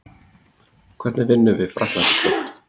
Hvernig vinnum við Frakkland í kvöld?